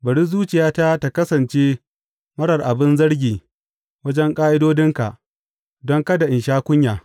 Bari zuciyata ta kasance marar abin zargi wajen ƙa’idodinka, don kada in sha kunya.